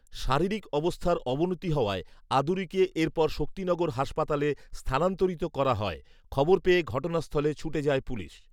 শারীরিক অবস্থার অবনতি হওয়ায় আদুরীকে এরপর শক্তিনগর হাসপাতালে স্থানান্তরিত করা হয়৷খবর পেয়ে ঘটনাস্থলে ছুটে যায় পুলিশ